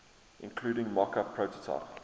including mockup prototype